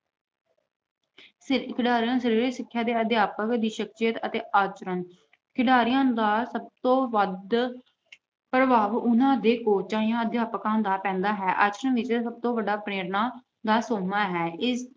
ਖਿਡਾਰੀਆਂ ਦਾ ਸਰੀਰਕ ਸਿੱਖਿਆ ਅਧਿਆਪਕ ਦੀ ਸਖਸ਼ੀਅਤ ਅਤੇ ਆਚਰਣ- ਖਿਡਾਰੀਆਂ ਦਾ ਸਭ ਤੋਂ ਵੱਧ ਪ੍ਰਭਾਵ ਉਹਨਾਂ ਦੇ ਕੋਚਾਂ ਜਾਂ ਅਧਿਆਪਕਾਂ ਦਾ ਪੈਂਦਾ ਹੈ। ਆਚਰਣ ਸਭ ਤੋਂ ਵੱਡਾ ਪ੍ਰੇਰਨਾ ਦਾ ਸੋਮਾ ਹੈ। ਇਸ